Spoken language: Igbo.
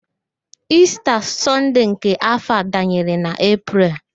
Ista Sọnde nke afọ a danyere na Epreel